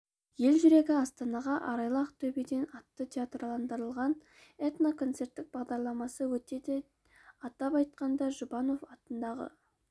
ел жүрегі астанаға арайлы ақтөбеден атты театрландырылған этно концерттік бағдарламасы өтеді атап айтқанда жұбанов атындағы